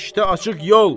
İşdə açıq yol!